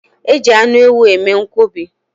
Eji anụ ewu eme nkwobi.